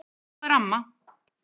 Svona er amma.